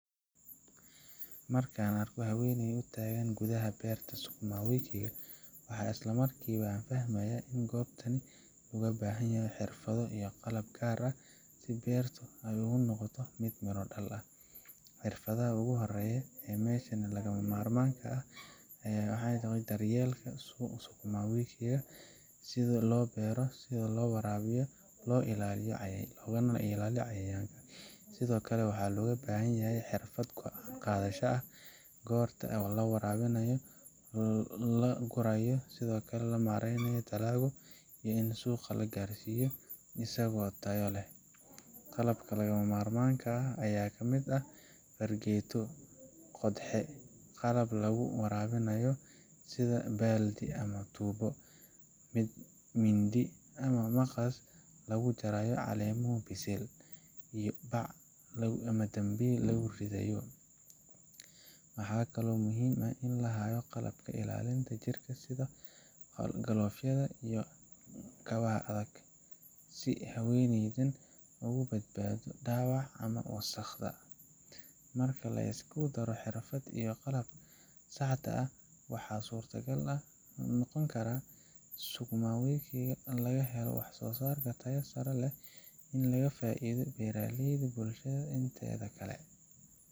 Marka aan arko haweeney taagan gudaha beerta sukuma wiki ga, waxaan isla markiiba fahmayaa in goobtan loo baahan yahay xirfado iyo qalab gaar ah si beertu u noqoto mid miro dhal ah. Xirfadda ugu horreysa ee meesha lagama maarmaanka ah waa daryeelka sukuma wiki sida loo beero, loo waraabiyo, loona ilaaliyo cayayaanka. Sidoo kale waxaa loo baahan yahay xirfadda go’aan qaadashada goorta la waraabinayo, la gurayo, iyo sida loo maareeyo dalagga iyo in suuqa u gaaro isagoo tayo leh. Qalabka lagama maarmaanka ahna waxaa ka mid ah fargeeto qodxe, qalab lagu waraabiyo sida baaldi ama tuubo, mindi ama maqas lagu jarayo caleemaha bisil, iyo bac ama dambiil lagu ridayo. Waxaa kaloo muhiim ah in la hayo qalabka ilaalinta jirka sida galoofyada ama kabaha adag, si haweeneydan uga badbaado dhaawac ama wasakhda. Marka la isku daro xirfadda iyo qalabka saxda ah, waxaa suurtagal noqonaya in sukuma wiki laga helo wax-soosaar tayo sare leh oo faa’iido u leh beeraleyda iyo bulshada inteeda kale.